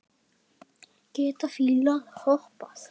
Geta fílar hoppað?